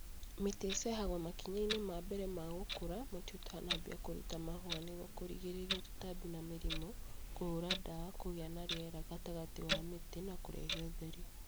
Mĩtĩ icehagwo makinya inĩ ma mbere ma gũkũra mũtĩ ũtanambia kũruta mahũa nĩguo kũgirĩrĩa tũtambi na mĩrimũ (kũhura ndawa), kũgĩa na rĩera rĩega gatagatĩ wa mĩtĩ na kũrehe ũtheri